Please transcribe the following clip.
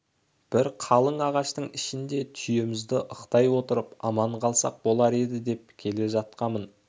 бір қалың ағаштың ішінде түйемізді ықтай отырып аман қалсақ болар еді деп келе жатқамын